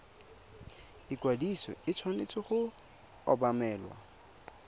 ikwadiso e tshwanetse go obamelwa